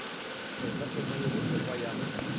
kgatha tema ye bohlokwa ya